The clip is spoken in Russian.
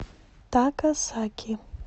такасаки